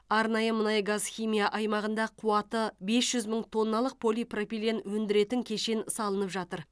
арнайы мұнай газхимия аймағында қуаты бес жүз мың тонналық полипропилен өндіретін кешен салынып жатыр